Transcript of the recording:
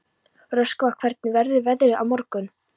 Röskva, hvernig verður veðrið á morgun?